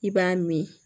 I b'a min